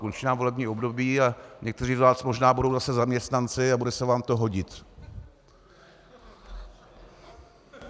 Končí nám volební období a někteří z vás možná budou zase zaměstnanci a bude se vám to hodit.